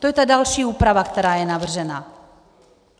To je ta další úprava, která je navržena.